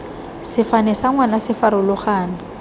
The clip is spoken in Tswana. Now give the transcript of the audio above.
sefane sa ngwana se farologane